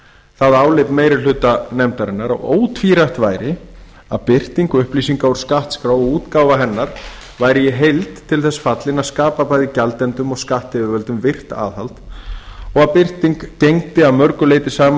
það álit meiri hluta nefndarinnar að ótvírætt væri að birting upplýsinga úr skattskrá og útgáfa hennar væri í heild til þess fallin að skapa bæði gjaldendum og skattyfirvöldum virkt aðhald og að slík birting gegndi að mörgu leyti sama